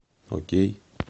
окей